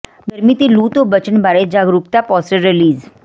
ਗਰਮੀ ਤੇ ਲੂ ਤੋਂ ਬਚਣ ਬਾਰੇ ਜਾਗਰੂਕਤਾ ਪੋਸਟਰ ਰਿਲੀਜ਼